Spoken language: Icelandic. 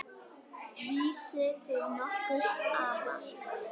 Vísi til nokkurs ama.